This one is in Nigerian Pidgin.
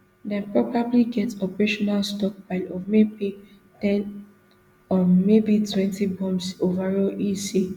dem probably get operational stockpile of maybe ten um maybe twenty bombs overall e say